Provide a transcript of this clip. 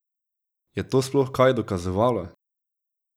Je to sploh kaj dokazovalo?